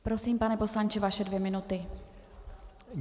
Prosím, pane poslanče, vaše dvě minuty.